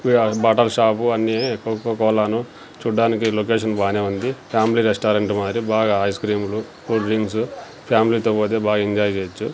బట్టల షాపు అన్ని Coca Cola ను చూడ్డానికి లొకేషన్ బానే ఉంది ఫ్యామ్లీ రెస్టారెంటు మారి బాగా ఐస్ క్రీమ్లు కూల్ డ్రింక్సు ఫ్యామ్లీ తో బోతే బా ఎంజాయ్ చేయొచ్చు.